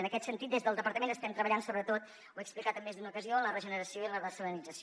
en aquest sentit des del departament estem treballant sobretot ho he explicat en més d’una ocasió en la regeneració i la dessalinització